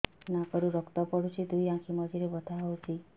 ନାକରୁ ରକ୍ତ ପଡୁଛି ଦୁଇ ଆଖି ମଝିରେ ବଥା ହଉଚି